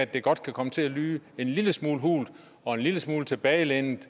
det godt kan komme til at lyde en lille smule hult og en lille smule tilbagelænet